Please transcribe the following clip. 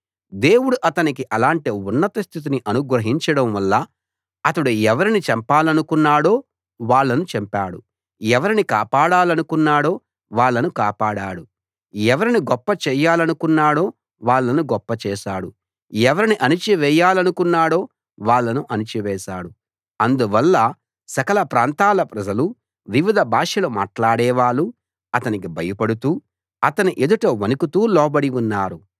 దేవుడు అతనికి అలాంటి ఉన్నత స్థితిని అనుగ్రహించడంవల్ల అతడు ఎవరిని చంపాలనుకున్నాడో వాళ్ళను చంపాడు ఎవరిని కాపాడాలనుకున్నాడో వాళ్ళను కాపాడాడు ఎవరిని గొప్ప చేయాలనుకున్నాడో వాళ్ళను గొప్పచేశాడు ఎవరిని అణచివేయాలనుకున్నాడో వాళ్ళను అణచివేశాడు అందువల్ల సకల ప్రాంతాల ప్రజలు వివిధ భాషలు మాట్లాడేవాళ్ళు అతనికి భయపడుతూ అతని ఎదుట వణకుతూ లోబడి ఉన్నారు